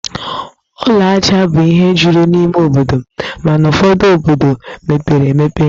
Ụlọ ajá bụ ihe juru n'ime obodo, mana ụfọdu obodo mepere emepe